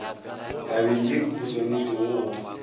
tabeng ye o swanetšego go